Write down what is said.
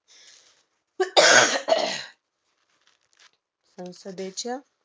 संसदेच्या